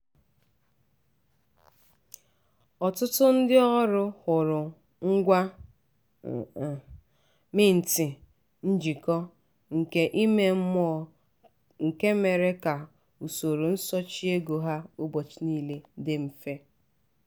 ọtụtụ ndị ọrụ hụrụ ngwa mint njikọ nke ime mmụọ nke mere ka usoro nsochị ego ha ụbọchị niile dị mfe.